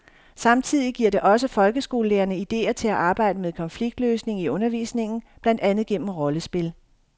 Samtidig giver det også folkeskolelærerne idéer til at arbejde med konfliktløsning i undervisningen, blandt andet gennem rollespil.